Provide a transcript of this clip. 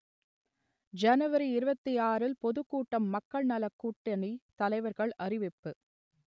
ஜனவரி இருபத்தி ஆறுல் பொதுக்கூட்டம் மக்கள் நலக்கூட்டணித் தலைவர்கள் அறிவிப்பு